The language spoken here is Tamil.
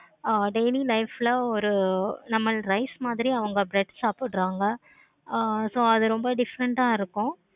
ஆஹ் daily life ல ஒரு நம்ம rice மாதிரி அவங்க bread சாப்பிடுறாங்க. ஆஹ் so அது ரொம்ப different ஆஹ் இருக்கு.